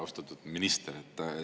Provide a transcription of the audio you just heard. Austatud minister!